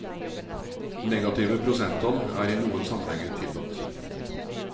Negative prosenttall er i noen sammenhenger tillatt.